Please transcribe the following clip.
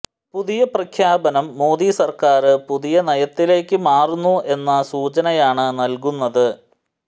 പുതിയ പ്രഖ്യാപനം മോദി സര്ക്കാര് പുതിയ നയത്തിലേക്ക് മാറുന്നു എന്ന സൂചനയാണ് നല്കുന്നത്